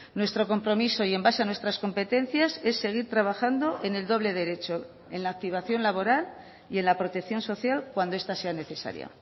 nuestro compromiso y en base a nuestras competencias es seguir trabajando en el doble derecho en la activación laboral y en la protección social cuando esta sea necesaria